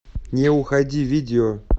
не уходи видео